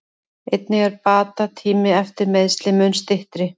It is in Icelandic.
Einnig er bata tími eftir meiðsli mun styttri.